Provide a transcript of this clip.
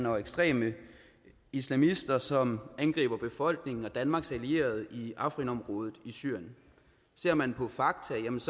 og ekstreme islamisters side som angriber befolkningen og danmarks allierede i afrin området i syrien ser man på fakta menes